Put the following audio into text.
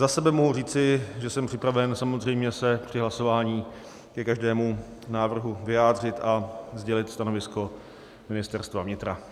Za sebe mohu říci, že jsem připraven samozřejmě se při hlasování ke každému návrhu vyjádřit a sdělit stanovisko Ministerstva vnitra.